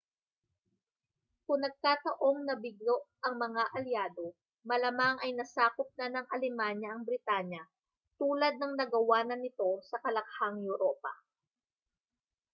kung nagkataong nabigo ang mga alyado malamang ay nasakop na ng alemanya ang britanya tulad ng nagawa na nito sa kalakhang europa